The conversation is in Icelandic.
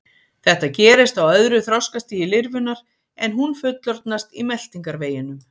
Þetta gerist á öðru þroskastigi lirfunnar en hún fullorðnast í meltingarveginum.